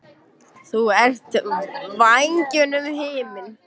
Þú ert vængjunum himinn.